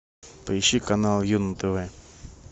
поищи канал ю на тв